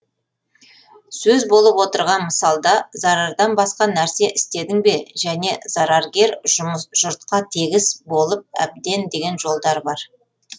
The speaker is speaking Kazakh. сөз болып отырған мысалда зарардан басқа нәрсе істедің бе және зараргер жұртқа тегіс болып әбден деген жолдар бар